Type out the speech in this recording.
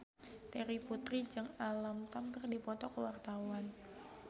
Terry Putri jeung Alam Tam keur dipoto ku wartawan